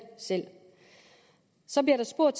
så bliver der spurgt